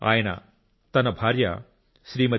ఆయన తన భార్య శ్రీమతి టి